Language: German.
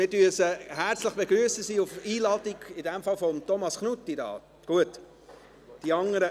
Wir begrüssen Sie herzlich, sie sind auf Einladung von Thomas Knutti hier.